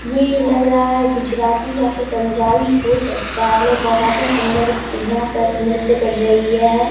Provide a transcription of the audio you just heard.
ये लग रहा है गुजराती या फिर पंजाबी भी हो सकता है बहुत ही सुंदर स्त्रियां सब नृत्य कर रही है।